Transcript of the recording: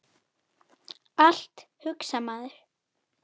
Allt, hugsar maður.